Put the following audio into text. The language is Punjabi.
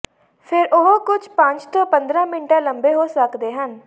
ਫੇਰ ਉਹ ਕੁਝ ਪੰਜ ਤੋਂ ਪੰਦਰਾਂ ਮਿੰਟਾਂ ਲੰਬੇ ਹੋ ਸਕਦੇ ਹਨ